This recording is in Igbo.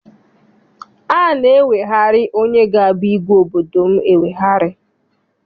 A na-eweghari onye ga abụ igwe obodo m eweghari.